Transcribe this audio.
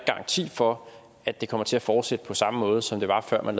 garanti for at det kommer til at fortsætte på samme måde som det var før man